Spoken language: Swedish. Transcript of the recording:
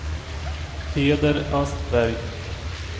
Peder Östberg